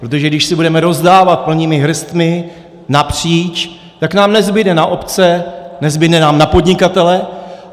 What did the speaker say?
Protože když si budeme rozdávat plnými hrstmi napříč, tak nám nezbude na obce, nezbude nám na podnikatele.